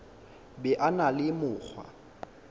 be a na le mokgwa